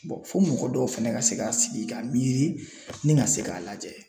fo mɔgɔ dɔw fɛnɛ ka se k'a sigi k'a miiri ni ka se k'a lajɛ.